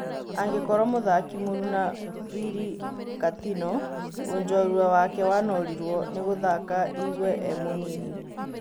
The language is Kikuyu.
Angĩkorwo mũthaki mũruna Birĩ Katino, ũjorwa wake wanorirwo nĩgũthaka Igwe e-mũnini.